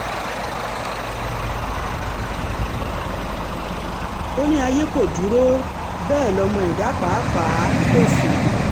ó ní ayé kò dúró um bẹ́ẹ̀ lọmọ ẹ̀dá pàápàá um kò sùn